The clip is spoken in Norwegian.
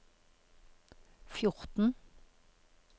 fjorten